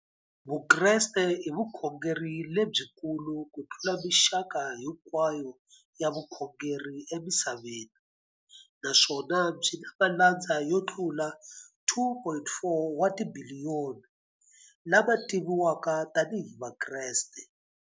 Vukreste i vukhongeri lebyikulu kutlula mixaka hinkwayo ya vukhongeri emisaveni, naswona byi na malandza yo tlula 2.4 wa tibiliyoni, la ma tiviwaka tani hi Vakreste.